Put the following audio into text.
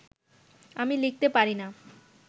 আমি লিখতে পারি না